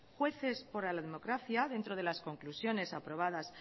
jueces por la democracia dentro de las conclusiones aprobadas